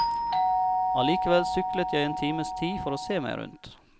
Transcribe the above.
Allikevel syklet jeg en times tid for å se meg rundt.